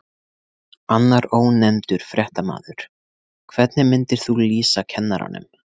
Annar ónefndur fréttamaður: Hvernig myndir þú lýsa kennaranum?